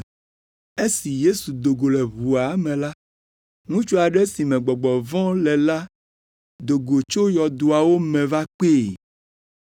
Esi Yesu do go tso ʋua me la, ŋutsu aɖe si me gbɔgbɔ vɔ̃ le la do go tso yɔdoawo me va kpee.